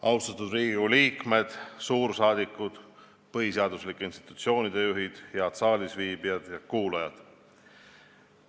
Austatud Riigikogu liikmed, suursaadikud, põhiseaduslike institutsioonide juhid, head saalisviibijad ja kuulajad!